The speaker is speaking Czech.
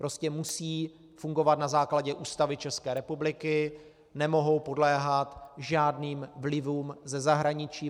Prostě musí fungovat na základě Ústavy České republiky, nemohou podléhat žádným vlivům ze zahraničí.